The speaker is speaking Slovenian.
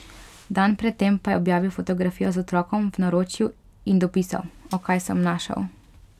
Dan pred tem pa je objavil fotografijo z otrokom v naročju in dopisal: 'O, kaj sem našel.